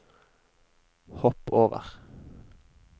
hopp over